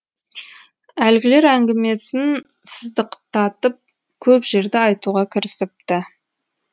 әлгілер әңгімесін сыздықтатып көп жерді айтуға кірісіпті